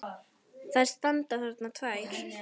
Þær standa þarna tvær!